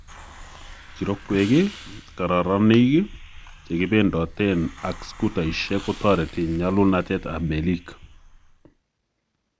Kirokwek, kararanik, chekibendoten ak scootaisiek kotoreti nyalulnatet ab meelik